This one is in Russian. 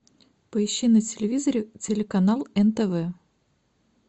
поищи на телевизоре телеканал нтв